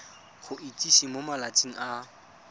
go itsise mo malatsing a